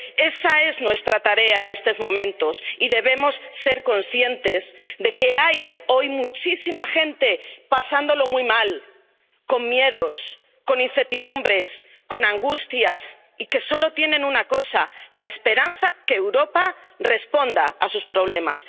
Esa es nuestra tarea en estos momentos y debemos ser conscientes de que hay, hoy, muchísima gente pasándolo muy mal, con miedos, con incertidumbres, con angustias, y que solo tienen una cosa, la esperanza de que Europa responda a sus problemas.